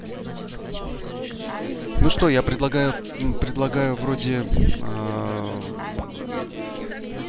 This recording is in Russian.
ну что я предлагаю предлагаю вроде